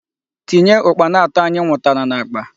Tinye Ukpana ato anyị nwụtara n'akpa!